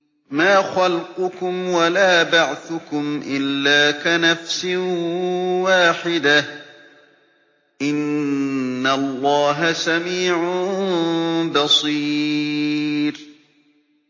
مَّا خَلْقُكُمْ وَلَا بَعْثُكُمْ إِلَّا كَنَفْسٍ وَاحِدَةٍ ۗ إِنَّ اللَّهَ سَمِيعٌ بَصِيرٌ